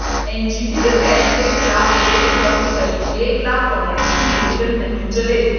NGT के फैसले के खिलाफ प्रदेश भर में करीब एक लाख कामर्शियल व्हीकल नहीं चले